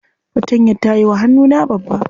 Fatantayar ta yiwa hannuna babba.